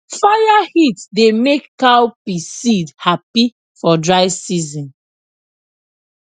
fire heat dey make cowpea seed happy for dry season